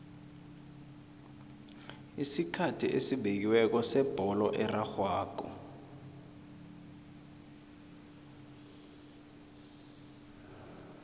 isikhathi esibekiweko sebholo erarhwako